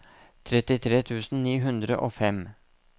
trettitre tusen ni hundre og fem